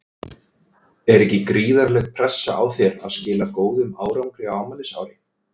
Er ekki gríðarleg pressa á þér að skila góðum árangri á afmælisári?